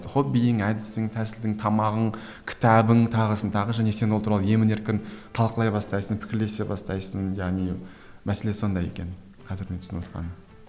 хоббиің әдісің тәсілің тамағың кітабың тағысын тағы және сен ол туралы емін еркін талқылай бастайсың пікірлесе бастайсың яғни мәселе сонда екен қазір мен түсініп отқаным